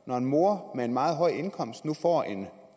når en mor med en meget høj indkomst nu får